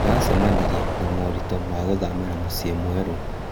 Ndĩracemanirie na moritũ ma gũthamĩra mũciĩ mwerũ.